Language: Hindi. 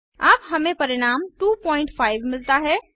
अब हमें परिणाम 25 मिलता है